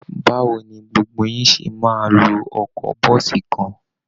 Báwo ni gbogbo yín ṣe máa lo ọkọ̀ bọ́ọ̀sì kan?